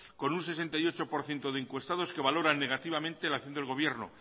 con un sesenta y ocho por ciento de encuestados que valoran negativamente la acción del gobierno